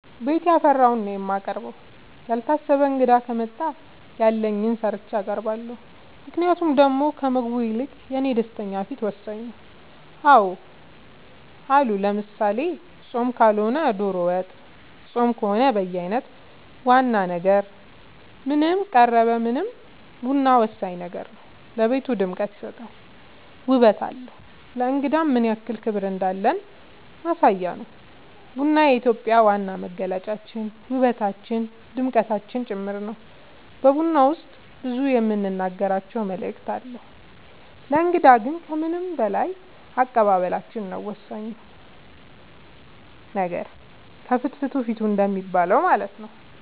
ቤት ያፈራውን ነው የማቀርበው ያልታሰበ እንግዳ ከመጣ ያለኝን ሰርቼ አቀርባለሁ ምክንያቱም ደሞ ከምግቡ ይልቅ የኔ ደስተኛ ፊት ወሳኝ ነው አዎ አሉ ለምሳሌ ፆም ካልሆነ ዶሮ ወጥ ፆም ከሆነ በየአይነት ዋና ነገር ምንም ቀረበ ምንም ቡና ወሳኝ ነገር ነው ለቤቱ ድምቀት ይሰጣል ውበት አለው ለእንግዳም ምንያክል ክብር እንዳለን ማሳያ ነው ቡና የኢትዮጵያ ዋና መገለጫችን ውበታችን ድምቀታችን ጭምር ነው በቡና ውስጥ ብዙ የምንናገራቸው መልዕክት አለው ለእንግዳ ግን ከምንም በላይ አቀባበላችን ነው ወሳኙ ነገር ከፍትፍቱ ፊቱ እንደሚባለው ማለት ነው